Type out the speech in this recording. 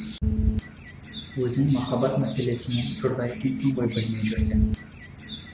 өзің махаббат мәселесінен жұрдай екенсің ғой білмей жүрсем